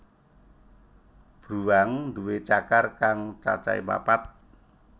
Bruwang nduwé cakar kang cacahé papat